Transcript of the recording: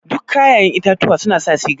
Duk kayaƴen itatuwa suna sa siga?